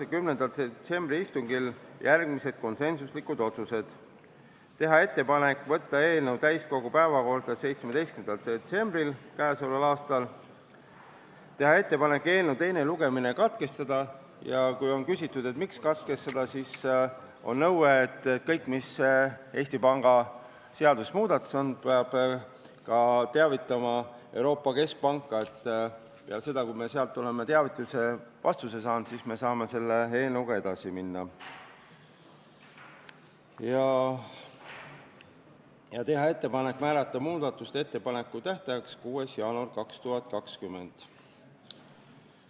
10. detsembri istungil langetas komisjon järgmised konsensuslikud otsused: teha ettepanek võtta eelnõu täiskogu päevakorda k.a 17. detsembril, teha ettepanek eelnõu teine lugemine katkestada – kui küsitakse, miks katkestada, siis põhjuseks on nõue, et kõigist Eesti Panga seaduse muudatustest peab teavitama ka Euroopa Keskpanka, ja kui me oleme sealt vastuse saanud, siis saame selle eelnõuga edasi minna – ning teha ettepanek määrata muudatusettepanekute esitamise tähtajaks 6. jaanuar 2020.